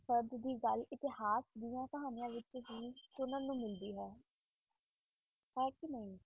ਫ਼ਰਜ਼ ਦੀ ਗੱਲ ਇਤਿਹਾਸ ਦੀਆਂ ਕਹਾਣੀਆਂ ਵਿੱਚ ਕੀ ਸੁਣਨ ਨੂੰ ਮਿਲਦੀ ਹੈ ਹੈ ਕਿ ਨਹੀਂ।